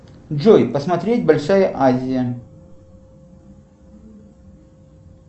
джой посмотреть большая азия